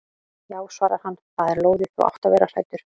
Já svarar hann, það er lóðið, þú átt að vera hræddur.